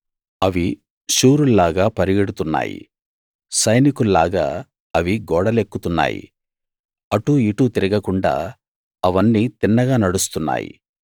అవి శూరుల్లాగా పరుగెడుతున్నాయి సైనికుల్లాగా అవి గోడలెక్కుతున్నాయి అటూ ఇటూ తిరుగకుండా అవన్నీ తిన్నగా నడుస్తున్నాయి